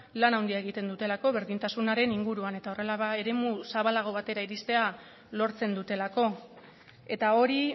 lan handia egiten dutelako berdintasunaren inguruan eta horrela eremu zabalago batera iristea lortzen dutelako eta hori